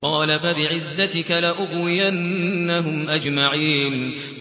قَالَ فَبِعِزَّتِكَ لَأُغْوِيَنَّهُمْ أَجْمَعِينَ